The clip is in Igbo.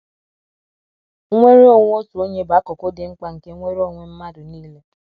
“ Nnwere onwe otu onye bụ akụkụ dị mkpa nke nnwere onwe mmadụ nile.